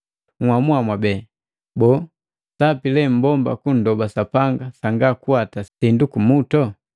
Nhamua mwabee, boo, sapi le mmbomba kunndoba Sapanga sanga kuwata sindu kumuto?